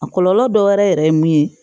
A kɔlɔlɔ dɔ wɛrɛ yɛrɛ ye mun ye